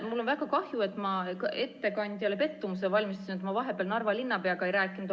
Mul on väga kahju, et ma ettekandjale pettumuse valmistasin ja vahepeal Narva linnapeaga ei rääkinud.